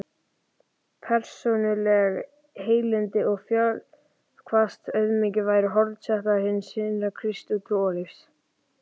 Persónuleg heilindi og fölskvalaus auðmýkt væru hornsteinar hins kristna trúarlífs.